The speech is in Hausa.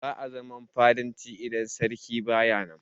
Ba'a zaman fadanci idan sarki baya nan.